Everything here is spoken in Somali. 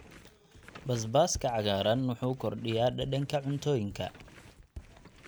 Basbaaska cagaaran wuxuu kordhiyaa dhadhanka cuntooyinka.